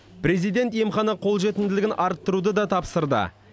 президент емхана қолжетімділігін арттыруды да тапсырды